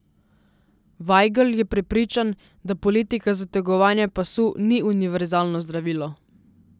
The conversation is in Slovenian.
Vajgl je prepričan, da politika zategovanja pasu ni univerzalno zdravilo.